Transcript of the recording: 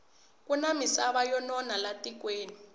kuna misava yo nona la tikweni